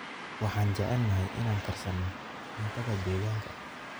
Waxaan jecelnahay inaan karsano cuntada deegaanka.